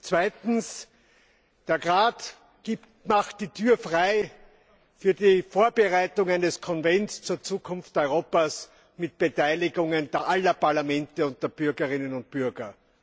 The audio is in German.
Zweitens Der Rat macht die Tür auf für die Vorbereitungen eines Konvents zur Zukunft Europas unter Beteiligung aller Parlamente und der Bürgerinnen und Bürger.